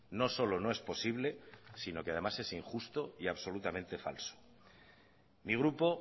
no solo no es posible sino que además es injusto y absolutamente falso mi grupo